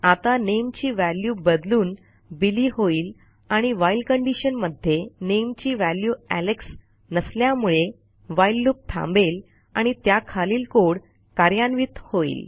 आता nameची व्हॅल्यू बदलून बिली होईल आणि व्हाईल कंडिशन मध्ये nameची व्हॅल्यू एलेक्स नसल्यामुळे व्हाईल लूप थांबेल आणि त्याखालील कोड कार्यान्वित होईल